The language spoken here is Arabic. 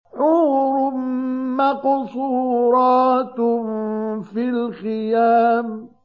حُورٌ مَّقْصُورَاتٌ فِي الْخِيَامِ